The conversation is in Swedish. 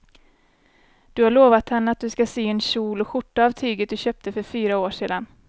Du har lovat henne att du ska sy en kjol och skjorta av tyget du köpte för fyra år sedan.